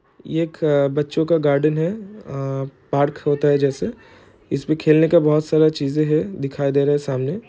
ये एक बच्चों का गार्डन है आ पार्क होता है जैसे इसमें खेलने के बहुत सारा चीजे है दिखाई दे रहे सामने।